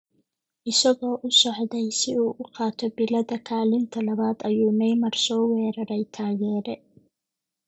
Isagoo u socday si uu u qaato bilada kaalinta labaad ayuu Neymar soo weeraray taageere.